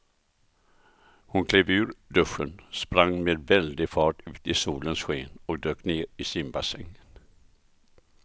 Hon klev ur duschen, sprang med väldig fart ut i solens sken och dök ner i simbassängen.